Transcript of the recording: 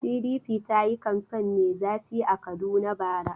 PDP ta yi kamfen mai zafi a Kaduna bara.